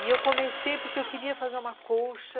E eu comecei porque eu queria fazer uma colcha.